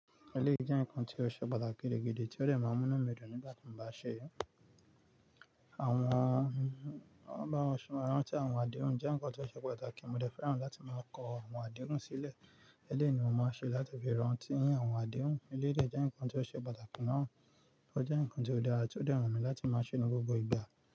Eléyìí jẹ́ nǹkan tí ó ṣe pàtàkì gidi ti ó dẹ̀ máa mú mí dùn nígbà tí mo bá ṣe é. Àwọn, báwo ni wọ́n ṣọ, ìrántí àwọn àdéhùn jẹ́ nǹkan tí ó ṣe pàtàkì. Mo dẹ fẹ́ràn láti máa kọ àwọn àdéhùn sílẹ̀. Eléyìí ni mo máa ń ṣe láti fi rántí àwọn àdéhùn. Eléyìí jẹ́ nǹkan tí ó ṣe pàtàkì náà. Ó jẹ́ nǹkan tí ó dára tí ó dẹrọ̀n mí láti máa ṣe ní gbogbo ìgbà.